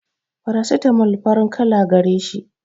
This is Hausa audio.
farasitamol farin kala gareshi